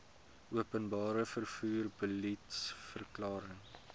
openbare vervoer beliedsverklaring